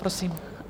Prosím.